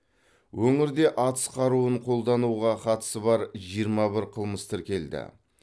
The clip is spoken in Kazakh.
өңірде атыс қаруын қолдануға қатысы бар жиырма бір қылмыс тіркелді